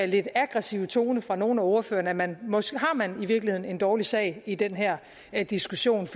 lidt aggressive tone fra nogle af ordførerne at man måske i virkeligheden har en dårlig sag i den her her diskussion